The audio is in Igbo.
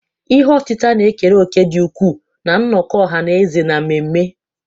Ihe otita na-ekere òkè dị ukwuu na nnọkọ ọha na eze na mmemme.